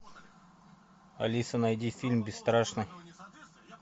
алиса найди фильм бесстрашный